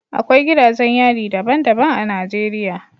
Akwai gidajen yari daban-daban a Najeriya